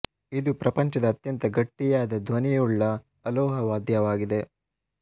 ಇದು ಪ್ರಪಂಚದ ಅತ್ಯಂತ ಗಟ್ಟಿಯಾದ ಧ್ವನಿ ಉಳ್ಳ ಅಲೋಹ ವಾದ್ಯವಾಗಿದೆ